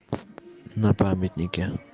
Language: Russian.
на памятнике